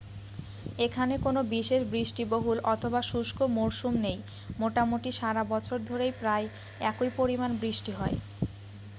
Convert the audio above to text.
এখানে কোনো বিশেষ বৃষ্টিবহুল অথবা শুষ্ক মরসুম নেই মোটামুটি সারা বছর ধরেই প্রায় একই পরিমাণ বৃষ্টি হয়